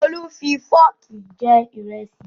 Olú fi fọ́ọ̀kì jẹ ìrẹsì